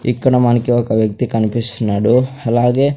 ఇక్కడ మనకి ఒక వ్యక్తి కనిపిస్తున్నాడు అలాగే--